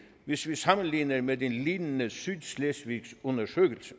hvis vi sammenligner med en lignende sydslesvigsk undersøgelse